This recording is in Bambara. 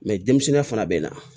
denmisɛnninya fana bɛ na